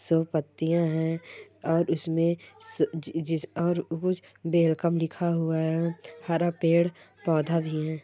सब पत्तियां है और उसमे और अअअ जी अ वेलकम लिखा हुआ है हरा पेड़ पौधा भी हैं।